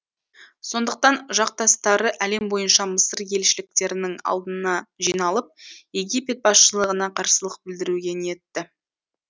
сондықтан жақтастары әлем бойынша мысыр елшіліктерінің алдына жиналып египет басшылығына қарсылық білдіруге ниетті